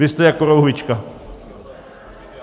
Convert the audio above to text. Vy jste jak korouhvička.